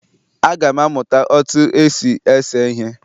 Aga m amụta otú e si ese ihe